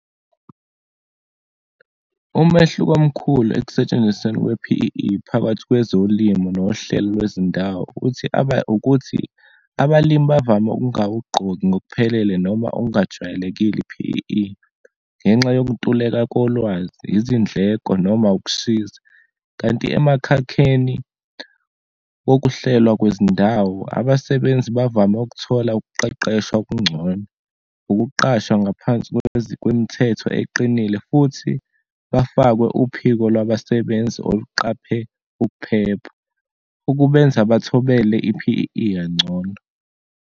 Umehluko omkhulu ekusentshenzisweni kwe-P_E_E phakathi kwezolimo nohlelo lwezindawo uthi , ukuthi abalimi bavame ukungawugqoki ngokuphelele noma okungajwayelekile i-P_E_E, ngenxa yokuntuleka kolwazi, izindleko noma ukushisa. Kanti emakhekheni wokuhlelwa kwezindawo, abasebenzi bavame ukuthola ukuqeqeshwa okungcono, ukuqashwa ngaphansi kwemithetho eqinile futhi bafakwe uphiko labasebenzi okuqaphe ukuphepha, ukubenza bathobela i-P_E_E kangcono.